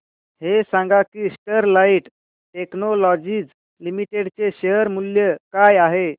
हे सांगा की स्टरलाइट टेक्नोलॉजीज लिमिटेड चे शेअर मूल्य काय आहे